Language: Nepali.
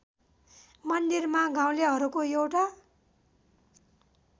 मन्दिरमा गाउँलेहरूको एउटा